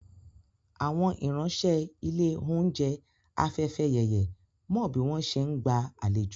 Àwọn ìránṣẹ́ ilé oúnjẹ Afẹ́fẹ́yẹyẹ mo bí wọ́n ṣe ń gba àlejò